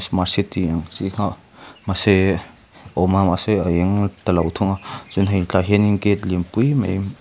mahse tiang ang chi kha mahse awm a mahse a eng ta lo thung a chuan hei tilai ah hian gate lianpui mai--